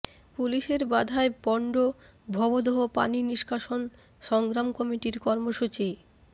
পুলিশের বাধায় পণ্ড ভবদহ পানি নিষ্কাশন সংগ্রাম কমিটির কর্মসূচি